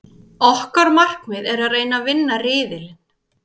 Okkar markmið er að reyna að vinna riðilinn.